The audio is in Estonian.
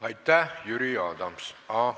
Aitäh, Jüri Adams!